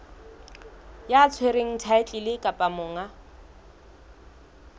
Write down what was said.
ya tshwereng thaetlele kapa monga